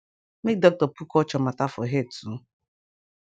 make doctor put culture mata for head too